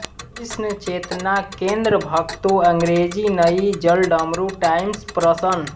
कृष्ण चेतना केन्द्र भक्तों अंग्रेजी नई जलडमरू टाइम्स प्रसन्न